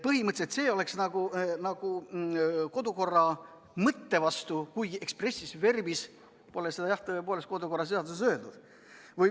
Põhimõtteliselt oleks see kodukorra mõtte vastu, kuigi expressis verbis pole seda, jah, tõepoolest, kodu- ja töökorra seaduses öeldud.